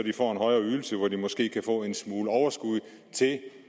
får en højere ydelse hvor de måske kan få en smule overskud til det